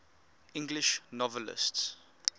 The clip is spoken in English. english novelists